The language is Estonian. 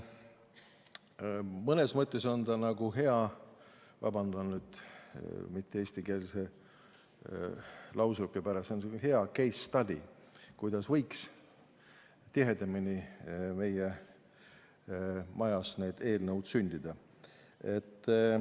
Mõnes mõttes on ta nagu hea selline – vabandan mitte-eestikeelse väljendi pärast – case study, kuidas võiks tihedamini meie majas eelnõud sündida.